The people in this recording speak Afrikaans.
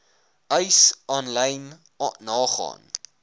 eis aanlyn nagaan